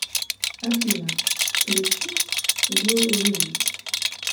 афина включить лил риз